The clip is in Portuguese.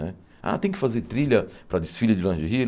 Né ah, tem que fazer trilha para desfile de lingerie?